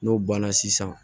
N'o banna sisan